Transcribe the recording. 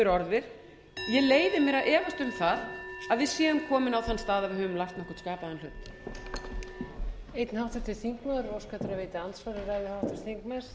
efast um það að við séum komin á þann stað að við höfum lært nokkurn skapaðan hlut